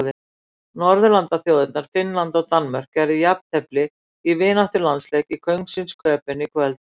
Norðurlandaþjóðirnar Finnland og Danmörk gerðu jafntefli í vináttulandsleik í Kóngsins Köben í kvöld.